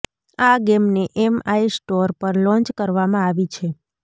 આ ગેમને MI store પર લોન્ય કરવામાં આવી છે